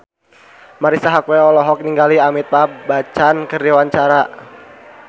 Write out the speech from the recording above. Marisa Haque olohok ningali Amitabh Bachchan keur diwawancara